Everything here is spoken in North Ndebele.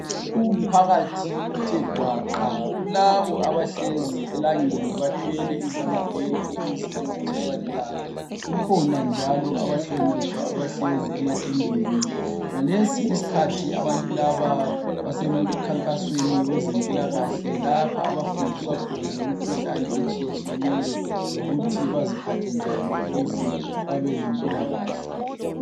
umphakathi uthe gwaqa kulabo abahlezi elangeni bathwele izambulena ukuze bengatshiswa lilanga kukhona njalo abahlonitshwa abahlezi ematendeni ngalesi isikhathi abantu laba basemkhankasweni wezempilakahle lapha abafundiswa khona ngemikhuhlane etshiyetshiyeneyo lokuthi baziphathe njani ukuze babelempilakahle